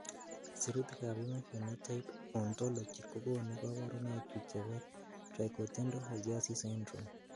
Sirutikab Human Phenotype Ontology kokonu koborunoikchu chebo Tricho dento osseous syndrome.